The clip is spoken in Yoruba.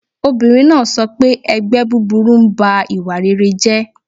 Obìnrin náà sọ pé 'ẹgbẹ́ búburú ń ba ìwà rere jẹ́'